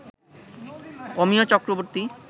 Amiya Chakraborty